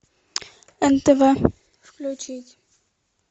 нтв включить